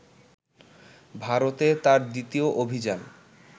ভারতে তাঁর দ্বিতীয় অভিযান